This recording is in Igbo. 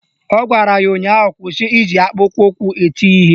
Ọ gwara ya ụnyaahụ "Kwụsị iji akpụkpọụkwụ eti ya ihe"!